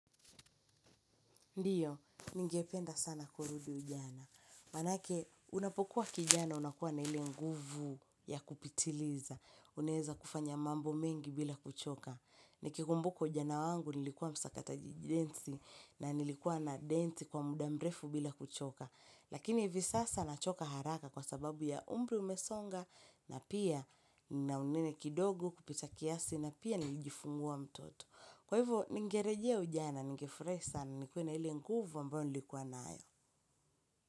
Ndio, ningependa sana kurudi ujana. Manake, unapokuwa kijana unakuwa na ile nguvu ya kupitiliza. Unaweza kufanya mambo mengi bila kuchoka. Nikikumbuka ujana wangu nilikuwa msakata densi na nilikuwa nadensi kwa muda mrefu bila kuchoka. Lakini hivi sasa nachoka haraka kwa sababu ya umri umesonga na pia nina unene kidogo kupita kiasi na pia nilijifungua mtoto. Kwa hivyo, ningerejea ujana, ningefurahi sana, nikuwe na ile nguvu mbayo nilikuwa nayo.